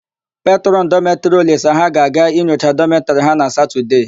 Petrọn dọmetịrị Olisa ha ga-aga inyocha dọmetịrị ha na Satọdee.